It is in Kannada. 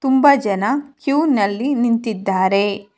ತುಂಬ ಜನ ಕ್ಯೂ ನಲ್ಲಿ ನಿಂತಿದ್ದಾರೆ.